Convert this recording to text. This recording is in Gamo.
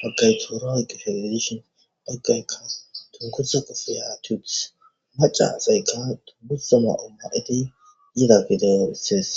fakaytoroyk feladishon paggayka tunkusa ko fiyatupus maca sayka tu gussoma omma7iti yida gideo issides